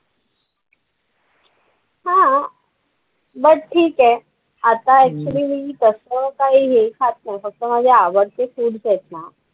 हा but ठीक आहे, आता actually मी तसं काही हे खात नाही फक्त माझे आवडते foods आहेत ना.